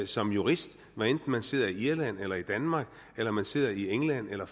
som jurist hvad enten man sidder i irland eller i danmark eller man sidder i england eller